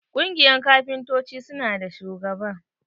Kungiyan kafintoci su na da shugaba.